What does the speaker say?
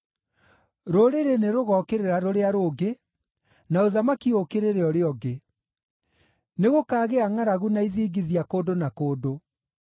Rũrĩrĩ nĩrũgookĩrĩra rũrĩa rũngĩ, na ũthamaki ũũkĩrĩre ũrĩa ũngĩ. Nĩgũkaagĩa ngʼaragu na ithingithia kũndũ na kũndũ.